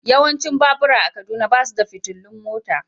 Yawancin babura a Kaduna ba su da fitilun mota.